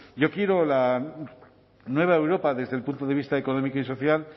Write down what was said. yo quiero la nueva europa desde el punto de vista económico y social